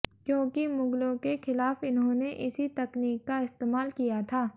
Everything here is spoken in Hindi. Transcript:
क्योंकि मुगलों के खिलाफ इन्होंने इसी तकनीक का इस्तेमाल किया था